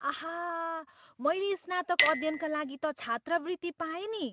आहा, मैले स्नातक अध्ययनका लागि त छात्रवृत्ति पाएँ नि।